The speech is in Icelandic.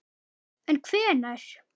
En hvenær?